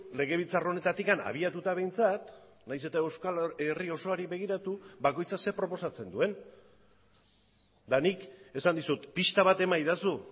legebiltzar honetatik abiatuta behintzat nahiz eta euskal herri osoari begiratu bakoitzak zer proposatzen duen eta nik esan dizut pista bat emaidazu